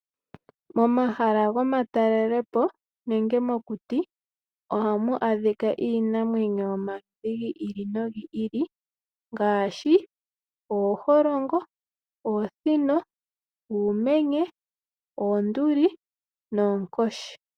Momahala gomatalelepo nenge mokuti ohamu adhika iinamwenyo yomaludhi gi ili nogi ili ngaashi ooholongo, oosino, uumenye, oonduli no oonkoshi.